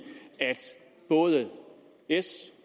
at både s